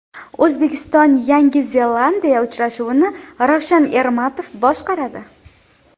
O‘zbekiston Yangi Zelandiya uchrashuvini Ravshan Ermatov boshqaradi.